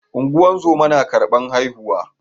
ungozoma na karban haihuwa